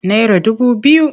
Naira dubu biyu.